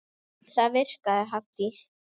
Það virkaði Haddý.